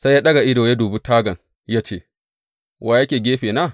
Sai ya ɗaga ido ya dubi tagan ya ce, Wa yake gefena?